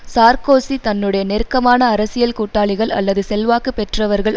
Sarkozy தன்னுடைய நெருக்கமான அரசியல் கூட்டாளிகள் அல்லது செல்வாக்கு பெற்றவர்கள்